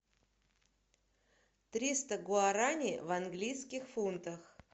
триста гуараней в английских фунтах